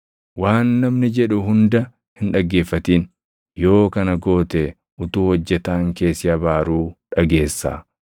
Waan namni jedhu hunda hin dhaggeeffatin; yoo kana goote utuu hojjetaan kee si abaaruu dhageessaa;